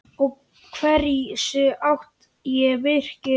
Og hversu hátt er virkið?